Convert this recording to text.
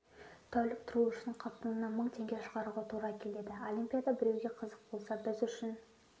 тәулік тұру үшін қалтаңнан мың теңге шығаруға тура келеді олимпиада біреуге қызық болса біз үшін